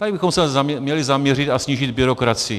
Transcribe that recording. Tady bychom se měli zaměřit a snížit byrokracii.